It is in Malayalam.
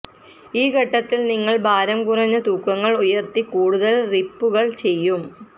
ഈ ഘട്ടത്തിൽ നിങ്ങൾ ഭാരം കുറഞ്ഞ തൂക്കങ്ങൾ ഉയർത്തി കൂടുതൽ റിപ്പുകൾ ചെയ്യും